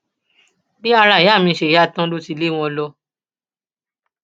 bí ara ìyá mi ṣe yá tán ló ti lé wọn lọ